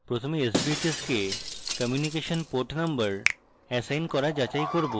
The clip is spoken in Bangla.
প্রথমে sbhs কে communication port number এসাইন করা যাচাই করব